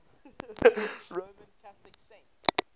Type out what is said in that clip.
roman catholic saints